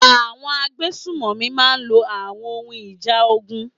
Àwọn agbésùnmọ̀mí máa lo àwọn ohun ìjà ogun.